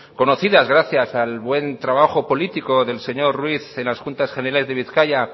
conocidas gracias al buen trabajo político del señor ruiz en la juntas generales de bizkaia